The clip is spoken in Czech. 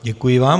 Děkuji vám.